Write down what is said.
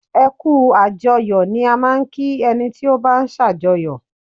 Ẹ kú àjọyọ̀ ni a máa ń kí ẹni tí ó bá ń sàjọyọ̀.